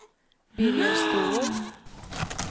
Birger Ståhl